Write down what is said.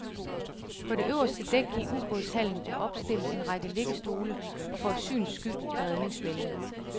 På det øverste dæk i ubådshallen er opstillet en række liggestole, og for et syns skyld et redningsbælte.